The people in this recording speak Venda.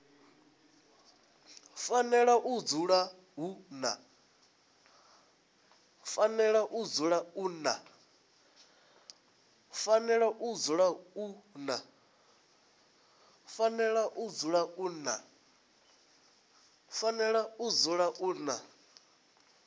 fanela u dzula hu na